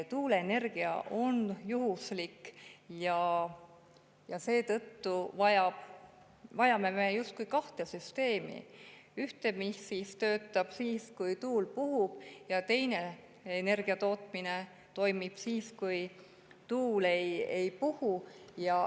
Tuuleenergia on juhuslik ja seetõttu vajame me justkui kahte süsteemi: ühte, mis töötab siis, kui tuul puhub, ja teist, mis toimib siis, kui tuul ei puhu.